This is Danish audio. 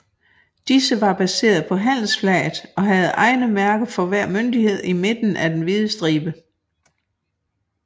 Disse var baseret på handelsflaget og havde egne mærker for hver myndighed i midten af den hvide stribe